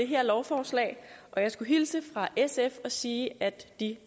her lovforslag jeg skal hilse fra sf og sige at de